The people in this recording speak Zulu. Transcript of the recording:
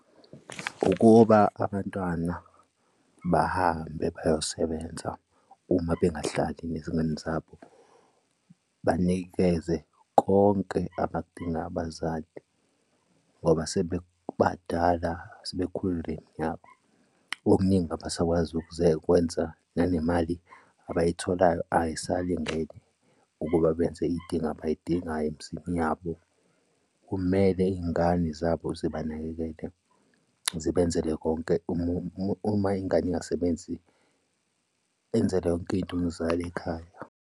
Ukuba abantwana bahambe bayosebenza uma bengahlali nezingane zabo, banikeze konke abadinga abazali ngoba sebebadala sebekhulile nabo. Okuningi abasakwazi ukwenza nanemali abayitholayo ayisalingene ukuba benze iy'dingo abayidingayo, emizini yabo. Kumele iy'ngane zabo zibanakekele sibenzele konke uma ingane ingasebenzi enzelwa yonke into umzali ekhaya.